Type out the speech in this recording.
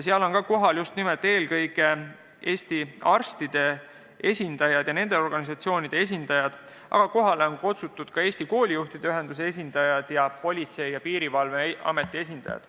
Seal olid ka kohal Eesti arstide ja nende organisatsioonide esindajad, aga kohale olid kutsutud ka Eesti koolijuhtide ühenduse esindajad ning Politsei- ja Piirivalveameti esindajad.